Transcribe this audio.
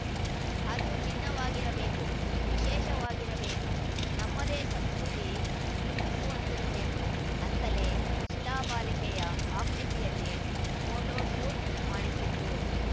ಅದು ಭಿನ್ನವಾಗಿರಬೇಕು ವಿಶೇಷವಾಗಿರಬೇಕು ನಮ್ಮದೇ ಸಂಸ್ಕೃತಿ ಬಿಂಬಿಸುವಂತಿರಬೇಕು ಅಂತಲೇ ಶಿಲಾಬಾಲಿಕೆಯ ಆಕೃತಿಯಲ್ಲಿ ಫೋಟೋಶೂಟ್‌ ಮಾಡಿಸಿದ್ದು